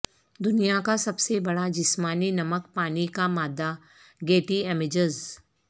دنیا کا سب سے بڑا جسمانی نمک پانی کا مادہ گیٹی امیجز